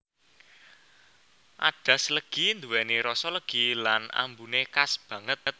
Adas legi nduweni rasa legi lan ambune khas banget